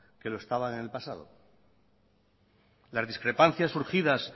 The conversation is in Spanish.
que lo estaban en el pasado las discrepancias surgidas